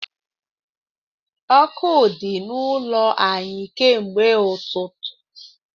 Ọkụ di n’ụlọ anyị ka mgbe ụtụtụ